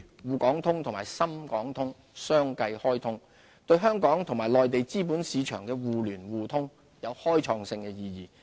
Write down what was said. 滬港通及深港通相繼開通，對香港與內地資本市場互聯互通有開創性的意義。